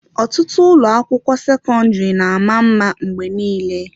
Ọtụtụ ụlọ, akwụkwọ sekọndrị na-ama mma mgbe niile.